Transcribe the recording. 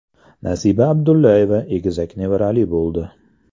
Nasiba Abdullayeva egizak nevarali bo‘ldi.